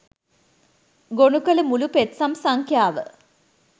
ගොනු කල මුළු පෙත්සම් සංඛ්‍යාව